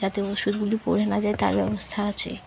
যাতে ওষুধগুলি পড়ে না যায় তার ব্যবস্থা আছে।